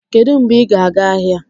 Kedu mgbe ị ga-aga ahịa?